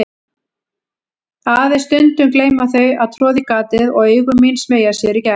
Aðeins stundum gleyma þau að troða í gatið og augu mín smeygja sér í gegn.